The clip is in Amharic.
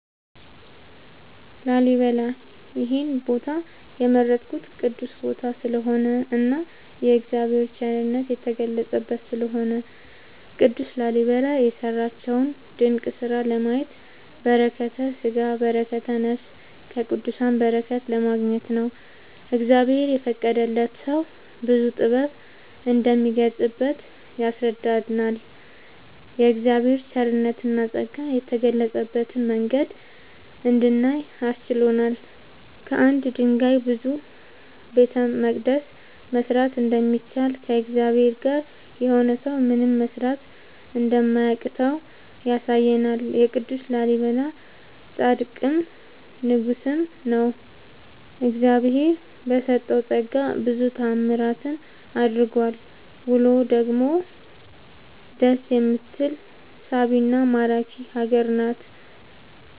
ላሊበላ ይሄን ቦታ የመረጥኩት ቅዱስ ቦታ ስለሆነ እና እግዚአብሔር የቸርነት የተገለፀበት ስለሆነ። ቅዱስ ላሊበላ የሰራቸውን ድንቅ ስራ ለማየት በረከተስጋ በረከተ ነፍስ ከቅዱሳን በረከት ለማግኘት ነው። እግዚአብሔር የፈቀደለት ሰው ብዙ ጥበብ እንደሚገለፅበት ያስረዳናል የእግዚአብሔር ቸርነትና ፀጋ የገለፀበትን መንገድ እንድናይ አስችሎናል። ከአንድ ድንጋይ ብዙ ቤተመቅደስ መስራት እንደሚቻል ከእግዚአብሔር ጋር የሆነ ሰው ምንም መስራት እንደማያቅተው ያሳየናል ቅዱስ ላሊበላ ፃድቅም ንጉስም ነው። እግዚአብሄር በሰጠው ፀጋ ብዙ ታዕምራትን አድርጓል ውሎ ደግሞ ደስ የምትል ሳቢና ማራኪ ሀገር ናት።…ተጨማሪ ይመልከቱ